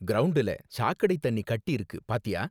கிரவுண்டுல சாக்கடை தண்ணி கட்டிருக்கு பார்த்தியா?